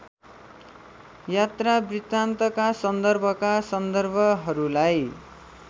यात्रावृत्तान्तका सन्दर्भका सन्दर्भहरूलाई